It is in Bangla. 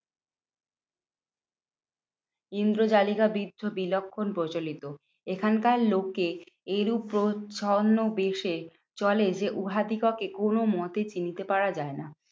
ইন্দ্র জালিকা বিদ্ধ বিলক্ষণ প্রচলিত। এখানকার লোকে এরূপ প্রচ্ছন্ন বেশে চলে যে, উহাদিগোকে কোনো মতে চিনতে পারা যায় না।